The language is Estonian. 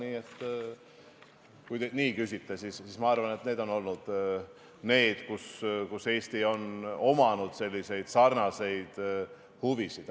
Seega, kui te nii küsite, siis ma arvan, et need on olnud kohad, kus Eestil on olnud sarnased huvid.